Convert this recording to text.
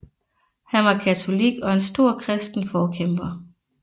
Han var katolik og en stor kristen forkæmper